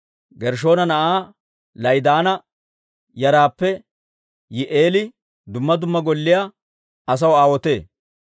Gershshoona na'aa La'idaana yaraappe Yihi'eeli dumma dumma golliyaa asaw aawotee.